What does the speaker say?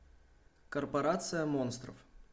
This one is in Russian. корпорация монстров